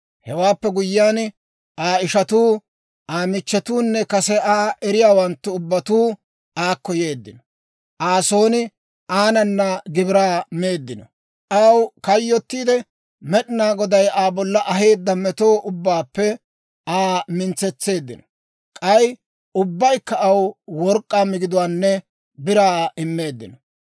Hewaappe guyyiyaan, Aa ishatuu, Aa michchetuunne kase Aa eriyaawanttu ubbatuu aakko yeeddino; Aa son aanana gibiraa meeddino. Aw kayyottiide, Med'inaa Goday Aa bolla aheedda meto ubbaappe Aa mintsetseeddino. K'ay ubbaykka aw work'k'aa migiduwaanne biraa immeeddino.